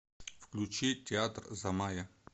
включи театр замая